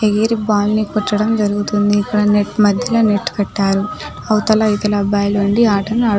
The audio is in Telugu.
ఎయిర్ బాల్ ని గుచడం జరుగుతుంది ఇక్కడ నెట్ మధ్యలో నట్ కట్టారు అవుతల ఇవతల అబ్బాయిలు ఉండి ఆటలు ఆడుతూ --